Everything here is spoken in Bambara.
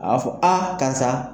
Aa fɔ karisa